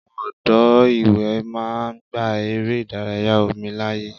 Àwọn odò ìwẹ̀ máa ń gba eré ìdárayá omi láàyè.